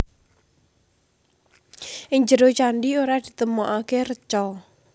Ing njero candhi ora ditemokaké reca